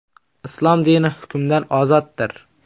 Islom dini hukmdan ozoddir.